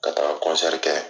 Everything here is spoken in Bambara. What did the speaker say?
Ka taa kɔnsɛri kɛ